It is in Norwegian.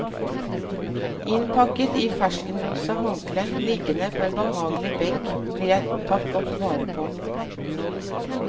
Innpakket i ferskenrosa håndklær, liggende på en behagelig benk blir jeg tatt godt vare på.